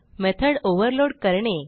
method overload करणे